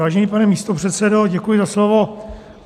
Vážený pane místopředsedo, děkuji za slovo.